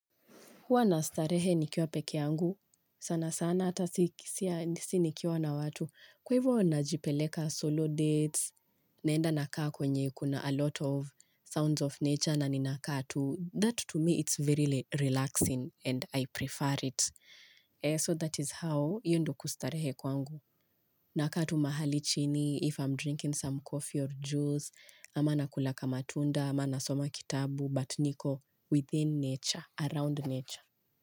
Huwa nastarehe nikiwa peke yangu, sana sana hata si nikiwa na watu, kwa ivo najipeleka solo dates, naenda nakaa kwenye kuna a lot of sounds of nature na ninakaa tu, that to me it's very relaxing and I prefer it. So that is how hio ndo kustarehe kwangu. Nakaa tu mahali chini, if I'm drinking some coffee or juice, ama nakula kamatunda, ama nasoma kitabu, but niko within nature, around nature.